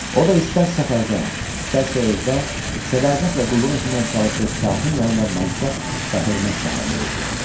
O da istər səfərdə, istərsə evdə sədaqətlə qulluq etməyə çalışıb şahın yanından mənsəb və hörmət sahibi oldu.